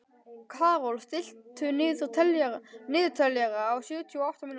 Karol, stilltu niðurteljara á sjötíu og átta mínútur.